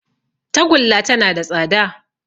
Tagulla tana da tsada